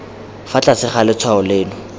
fa tlase ga letshwao leno